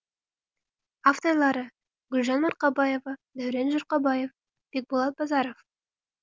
авторлары гүлжан марқабаева дәурен жұрқабаев бекболат базаров